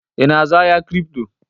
Ị na-azụ ahịa kripto?